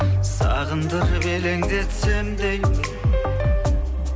сағындырып елеңдетсем деймін